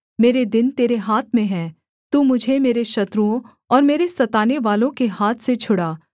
मेरे दिन तेरे हाथ में है तू मुझे मेरे शत्रुओं और मेरे सतानेवालों के हाथ से छुड़ा